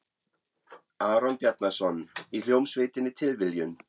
Aron Bjarnason, í hljómsveitinni Tilviljun?